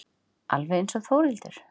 Alveg einsog Þórhildur.